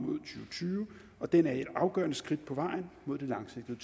tyve og den er et afgørende skridt på vejen mod det langsigtede